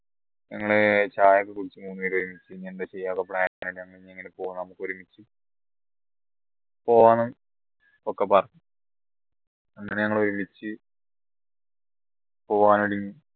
ഞങ്ങളെ ചായയൊക്കെ കുടിച്ചു ഇനി എന്താ ചെയ്യാ plan പോണം ഒക്കെ പറഞ്ഞു അങ്ങനെ ഞങ്ങൾ ഒരുമിച്ച് പോവാൻ വേണ്ടി